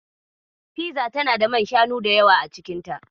Fiza tana da man shanu da yawa a cikinta.